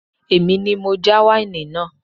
Èmi ni mo já wáìnì náà